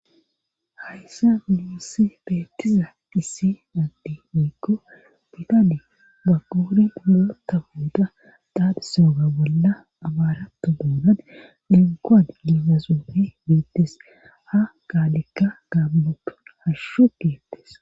Hayssa muussi beettiza dhissi addi miikko bidane ba quri urota buuda daaphisooga bolla abaarato doonan dinkoan liizasuofe biittes ha gaalekka gambotu hashshu geettes